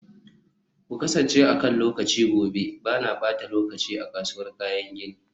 ku kasance akan lokaci gobe, ba na ɓata lokaci a kasuwar kayan gini.